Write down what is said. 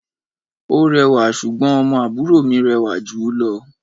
Ó rẹwà, ṣùgbọ́n ọmọ àbúrò mi rẹwà jù ú lọ.